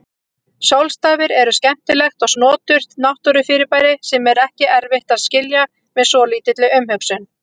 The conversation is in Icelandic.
Sólstafir eru skemmtilegt og snoturt náttúrufyrirbæri sem er ekki erfitt að skilja með svolítilli umhugsun.